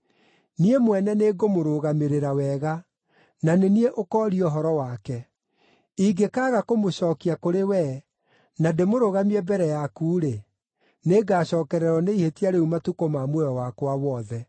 Niĩ mwene nĩngũmũrũgamĩrĩra wega; na nĩ niĩ ũkooria ũhoro wake. Ingĩkaaga kũmũcookia kũrĩ wee, na ndĩmũrũgamie mbere yaku-rĩ, nĩ ngaacookererwo nĩ ihĩtia rĩu matukũ ma muoyo wakwa wothe.